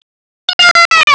Í einu!